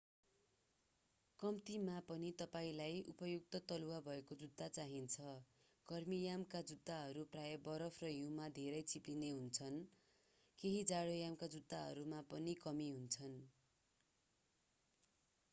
कम्तिमा पनि तपाईंलाई उपयुक्त तलुवा भएको जुत्ता चाहिन्छ गर्मीयामका जुत्ताहरू प्रायः बरफ र हिउँमा धेरै चिप्लिने हुन्छन् केही जाडोयामका जुत्ताहरूमा पनि कमी हुन्छ